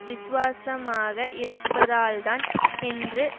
விசுவாசமாக இருப்பதால்தான் என்று